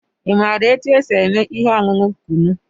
Ị maara otú e si eme ihe ọṅụṅụ Kunu?